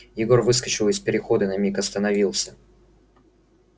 егор выскочил из перехода на миг остановился